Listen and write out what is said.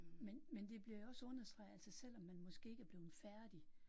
Men men det bliver jo også understreget altså selvom man måske ikke er blevet færdig